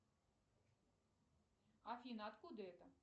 афина откуда это